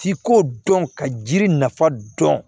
Ci ko dɔn ka jiri nafa dɔn